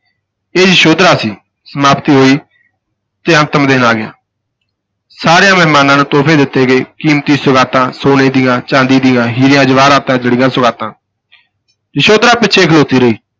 ਇਹ ਯਸ਼ੋਧਰਾ ਸੀ, ਸਮਾਪਤੀ ਹੋਈ ਤੇ ਅੰਤਮ ਦਿਨ ਆ ਗਿਆ ਸਾਰਿਆਂ ਮਹਿਮਾਨਾ ਨੂੰ ਤੋਹਫ਼ੇ ਦਿੱਤੇ ਗਏ, ਕੀਮਤੀ ਸੁਗਾਤਾਂ, ਸੋਨੇ ਦੀਆਂ, ਚਾਂਦੀ ਦੀਆਂ, ਹੀਰਿਆਂ ਜਵਾਹਰਾਤਾਂ ਜੜੀਆਂ ਸੁਗਾਤਾਂ ਯਸ਼ੋਧਰਾ ਪਿੱਛੇ ਖਲੋਤੀ ਰਹੀ।